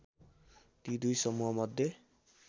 ती दुई समूहमध्ये